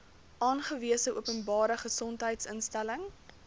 aangewese openbare gesondheidsinstelling